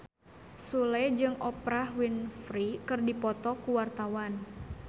Sule jeung Oprah Winfrey keur dipoto ku wartawan